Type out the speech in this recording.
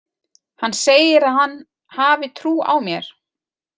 Hann segir að hann hafi trú á mér.